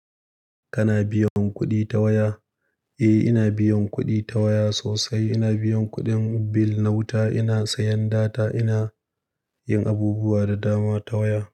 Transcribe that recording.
Kana biyan kuɗi ta waya? Eh, ina biyan kuɗi ta waya sosai. Ina biyan kuɗin bil na wuta, ina sayan data, ina yin abubuwa da dama ta waya.